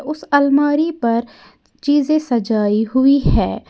उस अलमारी पर चीजें सजाई हुई है।